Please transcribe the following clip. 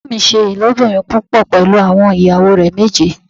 Bàbá mi ṣe ilobirin púpọ̀ pẹlú àwọn ìyàwó rẹ méje.